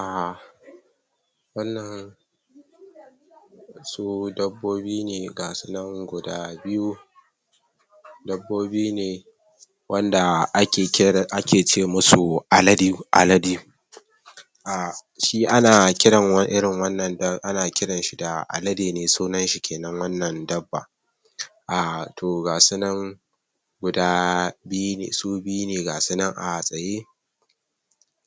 umm wannan su dabbobi ne gasu nan guda biyu dabbobi ne wanda ake kira ake ce musu alade alade um shi ana kiran wa irin wannan ɗin ana kiranshi da alade ne sunanshi kenan wannan dabba umm toh gasu nan guda biyu ne su biyu ne gasu nan a tsaye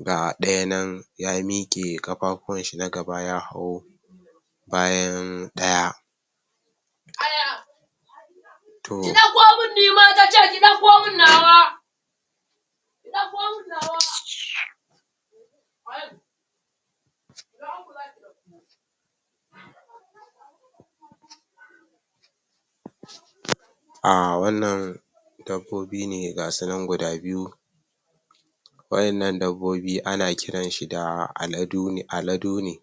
ga ɗaya nan ya miƙe kafafuwanshi na gaba ya hau bayan ɗaya toh ki ɗauko min nima nace ki ɗauko min nawa ki ɗauko min nawa um wannan dabbobi ne gasu nan guda biyu wa'innan dabbobi ana kiranshi da aladu ne aladu ne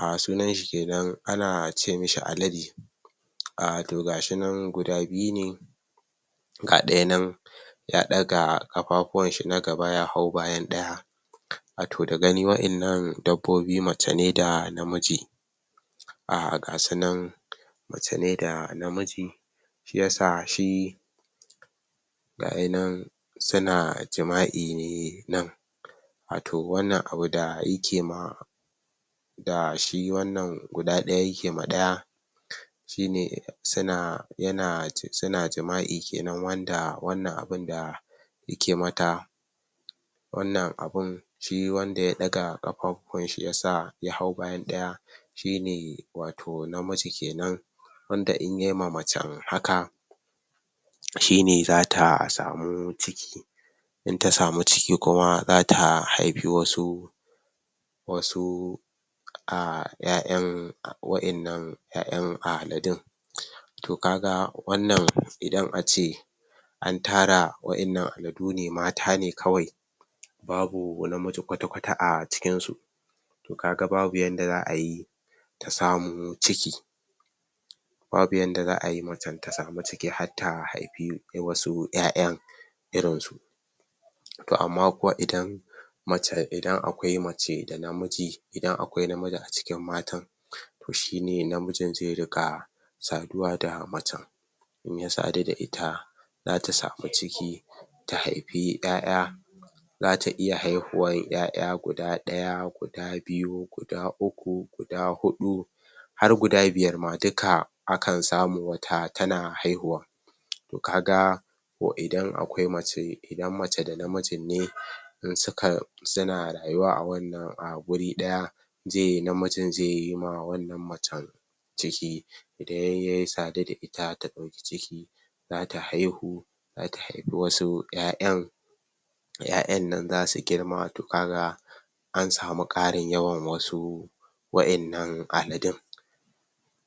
um sunanshi kenan ana ce mishi alade um to gashinan guda biyu ne ga ɗaya nan ya ɗaga kafafuwanshi na gaba ya hau bayan ɗaya wato da gani wa'innan dabbobi mace ne da namiji um gasu nan mace ne da namiji shiyasa shi gayinan suna jima'i ne nan wato wannan abu da yake ma da shi wannan guda ɗaya yake ma ɗaya shine suna yana ji suna jima'i kenan wanda wannan abun da yake mata wannan abun shi wanda ya ɗaga kafafuwanshi yasa ya hau bayan ɗaya shine wato namiji kenan wanda in yai ma macen haka shine zata samu ciki in ta samu ciki kuma zata haifi wasu wasu um ƴaƴan um wa'innan ƴaƴan aladun to ka ga wannan idan ace an tara wa'innan aladu ne mata ne kawai babu namiji kwata kwata a cikinsu to kaga babu yanda za a yi ta samu ciki babu yanda za a yi macen ta samu ciki hatta haifi wasu ƴaƴan irinsu toh amma kuma idan macen idan akwai macen da namiji idan akwai namiji a cikin matan toh shine namijin ze riƙa saduwa da macen in ya sadu da ita zata samu ciki ta haifi ƴaƴa zata iya haihuwan ƴaƴa guda ɗaya guda biyu guda uku guda huɗu har guda biyar ma duka akan samu wata tana haihuwa toh ka ga to idan akwai mace idan mace da namijin ne in suka suna rayuwa a wannan a guri ɗaya ze namijin ze yi ma wannan macen ciki idan ya sadu da ita ta ɗauki ciki zata haihu zata haifi wasu ƴaƴan ƴaƴan nan zasu girma to kaga an samu ƙarin yawan wasu wa'innan aladun